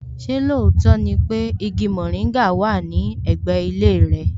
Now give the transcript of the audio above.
Ṣé lóòótọ́ ni pé igi mòríngà wà ní ẹ̀gbẹ́ ilé rẹ?